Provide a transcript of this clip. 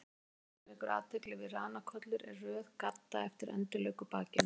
Það fyrsta sem vekur athygli við ranakollur er röð gadda eftir endilöngu bakinu.